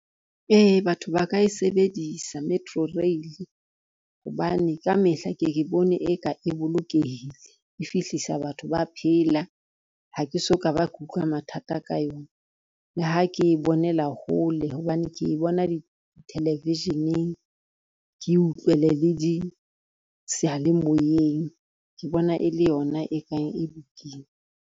Ee batho ba ka e sebedisa metro rail, hobane ka mehla ke ke bone e ka e bolokehile, e fihlisa batho ba phela ha ke so ka ba ke utlwa mathata ka yona. Le ha ke e bonela hole hobane ke bona di-television-eng, ke utlwele le di seyalemoyeng, ke bona e le yona e kang e lokile.